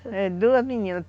É, duas meninas.